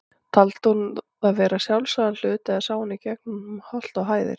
Taldi hún það vera sjálfsagðan hlut, eða sá hún í gegnum holt og hæðir?